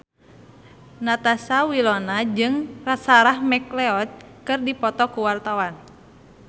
Natasha Wilona jeung Sarah McLeod keur dipoto ku wartawan